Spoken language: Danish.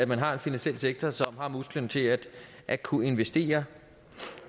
man har en finansiel sektor som har musklerne til at at kunne investere